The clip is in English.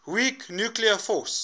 weak nuclear force